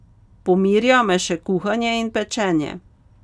Pomirja me še kuhanje in pečenje.